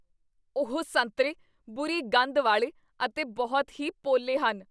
ਉਹ ਸੰਤਰੇ ਬੁਰੀ ਗੰਧ ਵਾਲੇ ਅਤੇ ਬਹੁਤ ਹੀ ਪੋਲੇ ਹਨ